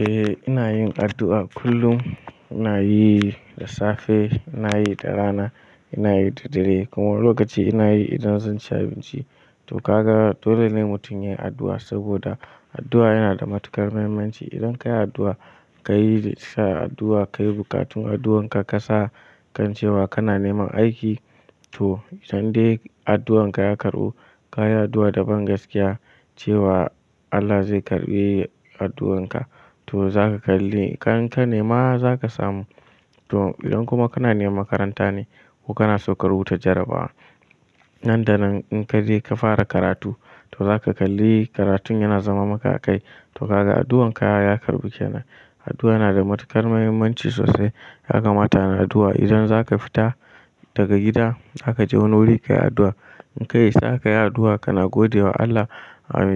Eh ina yin addu'a kullum, ina yi da safe, ina yi da rana, ina yi da dare kuma wani lokaci ina yi idan zan ci abinci. To gaga dole ne mutum yayi addu'a saboda addu'a yana da matuƙar muhimmanci. Idan ka yi addu'a, ka yi addu'a, ka yi buƙatun addu'anka ka sa kan cewa kana neman aiki to idan dai addu'anka ya karɓu, ka yi addu'a da bangaskiya cewa Allah zai karɓi addu'anka to zaka kalli kan nema zaka samu. To idan kuma kana neman makaranta ne ko kana so ka rubuta jarabawa, nan da nan in ka je ka fara karatu to zaka kalli karatun yana zama maka a kai. To kaga addu'anka ya karɓu kenan. Addu'a yana da matuƙar muhimmanci sosai, ya kamata ana addu'a idan zaka fita daga gida, zaka je wani wuri ka yi addu'a. In ka isa ka yi addu'a kana gode wa Allah